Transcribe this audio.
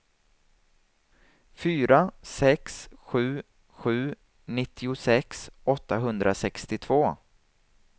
fyra sex sju sju nittiosex åttahundrasextiotvå